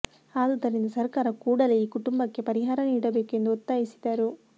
ಆದುದರಿಂದ ಸರಕಾರ ಕೂಡಲೇ ಈ ಕುಟುಂಬಕ್ಕೆ ಪರಿಹಾರ ನೀಡಬೇಕು ಎಂದು ಒತ್ತಾಯಿಸಿದರು